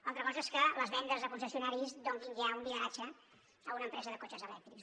altra cosa és que les vendes a concessionaris donin ja un lideratge a una empresa de cotxes elèctrics